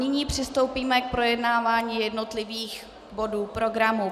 Nyní přistoupíme k projednávání jednotlivých bodů programu.